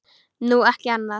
Nú, ekki annað.